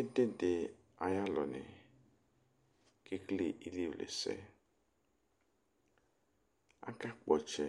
Ɛdidi ayʋ alʋni kʋ ekele ilevlesɛ akakpɔ ɔtsɛ